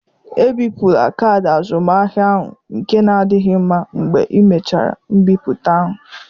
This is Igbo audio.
Ebipụla kaadị azụmahịa ahụ nke na adịghị mma mgbe ịmechara mbipụta ahụ.